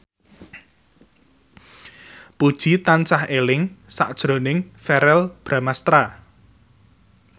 Puji tansah eling sakjroning Verrell Bramastra